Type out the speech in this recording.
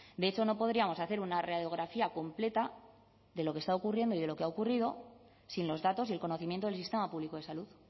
de hecho no podríamos hacer una radiografía completa de lo que está ocurriendo y de lo que ha ocurrido sin los datos y el conocimiento del sistema público de salud